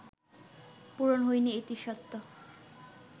পূরণ হয়নি এটি সত্য